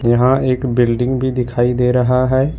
यहां एक बिल्डिंग भी दिखाई दे रहा है।